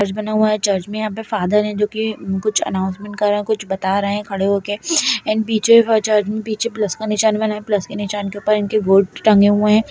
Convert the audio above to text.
चर्च बना हुआ है चर्च में यहाँ पे फादर हैं जो की कुछ अनाउंसमेंट कर रहे हैं कुछ बता रहे हैं खड़े होके एंड पीछे पीछे चर्च में प्लस का निशान बना हुआ है प्लस के निशान के ऊपर इनके गॉड टंगे हुए हैं।